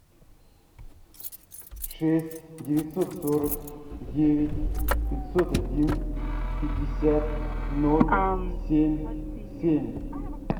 шесть девятьсот сорок девять пятьсот один пятьдесят ноль семь семь